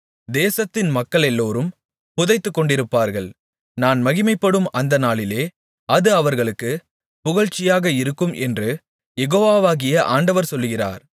தேசத்தின் மக்களெல்லோரும் புதைத்துக்கொண்டிருப்பார்கள் நான் மகிமைப்படும் அந்த நாளிலே அது அவர்களுக்குக் புகழ்ச்சியாக இருக்கும் என்று யெகோவாகிய ஆண்டவர் சொல்லுகிறார்